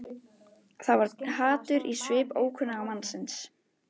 Það var hatur í svip ókunnuga mannsins.